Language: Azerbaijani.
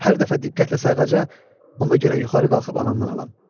Hər dəfə diqqətlə sayğaca, onda gərək yuxarı qalxıb anamdan alam.